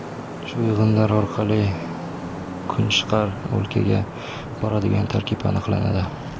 Shu yig‘inlar orqali kunchiqar o‘lkaga boradigan tarkib aniqlanadi.